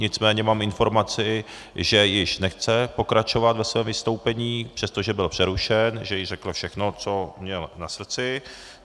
Nicméně mám informaci, že již nechce pokračovat ve svém vystoupení, přestože byl přerušen, že již řekl všechno, co měl na srdci.